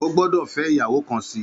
Ó gbòdò fè iyàwó kán si